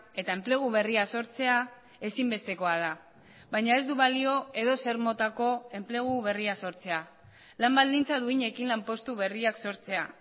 eta enplegu berria sortzea ezinbestekoa da baina ez du balio edozer motako enplegu berria sortzea lan baldintza duinekin lanpostu berriak sortzea